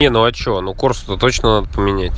не ну а что ну корсу то точно надо поменять